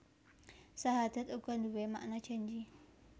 Sahadat uga nduwé makna janji